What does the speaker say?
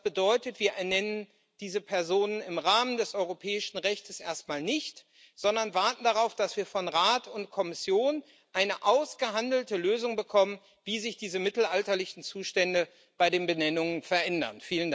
Das bedeutet, wir ernennen diese Personen im Rahmen des europäischen Rechts erstmal nicht, sondern warten darauf, dass wir von Rat und Kommission eine ausgehandelte Lösung bekommen, wie sich diese mittelalterlichen Zustände bei den Benennungen verändern.